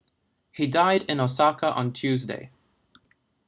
he died in osaka on tuesday